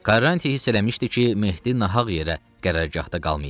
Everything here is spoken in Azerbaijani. Karanti hiss eləmişdi ki, Mehdi nahaq yerə qərargahda qalmayıb.